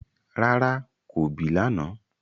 Rárá, ko bì lànà